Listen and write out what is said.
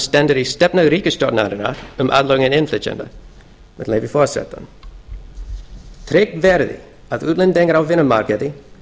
stendur í stefnu ríkisstjórnarinnar um aðlögun innflytjenda með leyfi forseta tryggt verði að útlendingar á vinnumarkaði